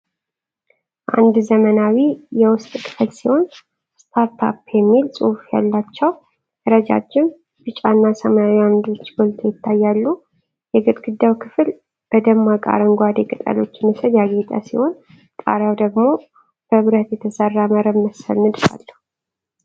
አንድ ዘመናዊ የውስጥ ክፍል ሲሆን "Startup" የሚል ጽሑፍ ያላቸው ረዣዥም ቢጫና ሰማያዊ ዓምዶች ጎልተው ይታያሉ። የግድግዳው ክፍል በደማቅ አረንጓዴ ቅጠሎች ምስል ያጌጠ ሲሆን፣ ጣሪያው ደግሞ በብረት የተሰራ መረብ መሰል ንድፍ አለው።